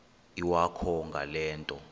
iwakho ngale nto